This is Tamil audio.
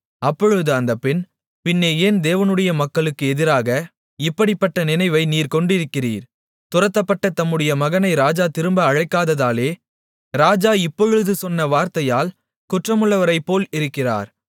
அப்பொழுது அந்தப் பெண் பின்னே ஏன் தேவனுடைய மக்களுக்கு எதிராக இப்படிப்பட்ட நினைவை நீர் கொண்டிருக்கிறீர் துரத்தப்பட்ட தம்முடைய மகனை ராஜா திரும்ப அழைக்காததாலே ராஜா இப்பொழுது சொன்ன வார்த்தையால் குற்றமுள்ளவரைப்போல் இருக்கிறார்